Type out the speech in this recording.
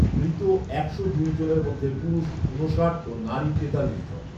মৃত একশো দুই জনের মধ্যে পুরুষ ঊনষাট ও নারী তেতাল্লিশ জন